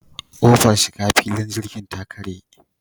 Ƙofar shiga filin jirgi ta karye.